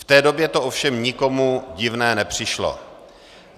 V té době to ovšem nikomu divné nepřišlo.